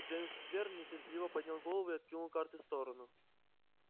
джеймс твер нетерпеливо поднял голову и откинул карты в сторону